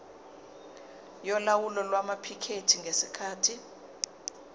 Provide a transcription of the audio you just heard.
yolawulo lwamaphikethi ngesikhathi